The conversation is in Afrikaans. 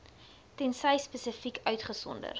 tensy spesifiek uitgesonder